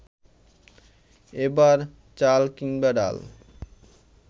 এবার চাল কিংবা ডাল